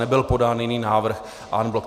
Nebyl podán jiný návrh en bloc.